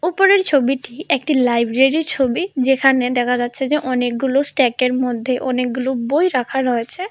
উপরের ছবিটি একটি লাইব্রেরির ছবি যেখানে দেখা যাচ্ছে যে অনেকগুলো স্ট্যাকের মধ্যে অনেকগুলো বই রাখা রয়েছে।